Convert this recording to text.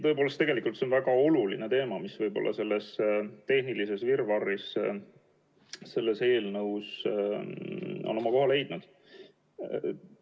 See on tõepoolest väga oluline teema, mis võib-olla selles tehnilises virvarris on selles eelnõus oma koha leidnud.